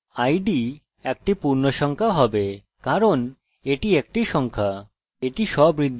id একটি পূর্ণসংখ্যা হবে কারণ এটি একটি সংখ্যা